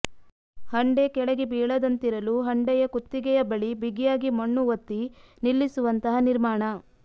ಹಂಡೆ ಕೆಳಗೆ ಬೀಳದಂತಿರಲು ಹಂಡೆಯ ಕುತ್ತಿಗೆಯ ಬಳಿ ಬಿಗಿಯಾಗಿ ಮಣ್ಣು ಒತ್ತಿ ನಿಲ್ಲಿಸುವಂತಹ ನಿರ್ಮಾಣ